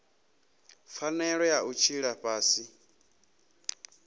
pfanelo ya u tshila fhasi